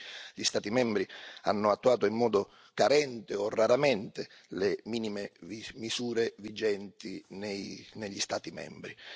Fino ad oggi, gli Stati membri hanno attuato in modo carente o raramente le minime misure vigenti negli Stati membri.